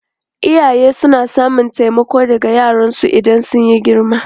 Iyaye suna samun taimako daga yara idan sun girma.